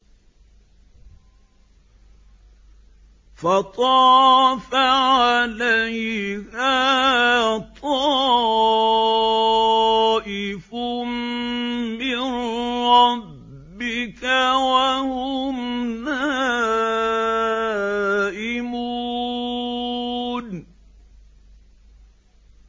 فَطَافَ عَلَيْهَا طَائِفٌ مِّن رَّبِّكَ وَهُمْ نَائِمُونَ